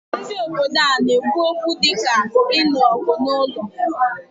Ndị obodo ana-ekwu okwu dị ka inu ogu n'ụlọ?